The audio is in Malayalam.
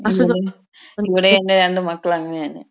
*നോട്ട്‌ ക്ലിയർ* ഇവിടെ എന്റെ രണ്ട് മക്കൾ അങ്ങനെയാണ്.